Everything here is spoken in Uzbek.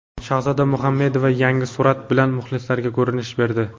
Shahzoda Muhammedova yangi surat bilan muxlislariga ko‘rinish berdi.